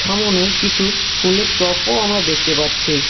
সামোনে কিছু ফুলের টপও আমরা দেখতে পাচ্ছি।